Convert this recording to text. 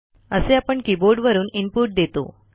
असे आपण कीबोर्डवरून इनपुट देतो